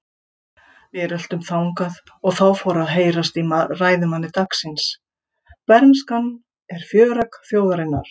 Við röltum þangað og þá fór að heyrast í ræðumanni dagsins: Bernskan er fjöregg þjóðarinnar.